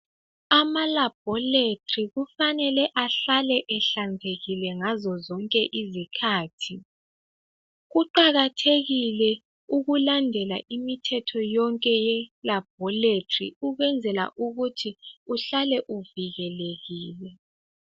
Ama labhorethi kufanele ahlale ehlanzekile ngazo zonke izikhathi. Kuqakathekile ukulandela imithetho yonke yelabhorethi ukwenzela ukuthi uhlale uvikelekile.